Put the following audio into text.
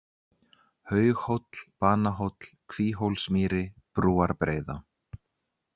Haughóll, Banahóll, Kvíhólsmýri, Brúarbreiða